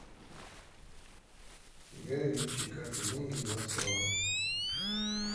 гай ричи карты деньги два ствола